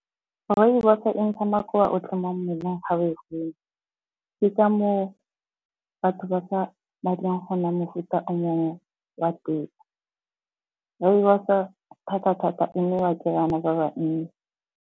Rooibos-o e ntsha makoa otlhe mo mmeleng ga o enwa. Ke ka moo batho ba sa batle go nwa mofuta o mongwe wa tee. Rooibos-o thata-thata e nowa ke bana ba ba nnye.